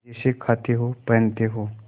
मजे से खाते हो पहनते हो